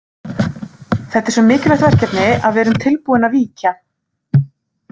Þetta er svo mikilvægt verkefni að við erum tilbúin að víkja.